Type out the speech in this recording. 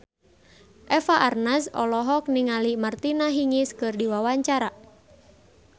Eva Arnaz olohok ningali Martina Hingis keur diwawancara